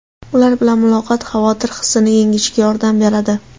Ular bilan muloqot xavotir hissini yengishga yordam beradi.